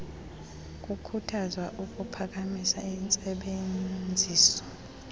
kukhuthazwa ukuphakamisa intsebenziso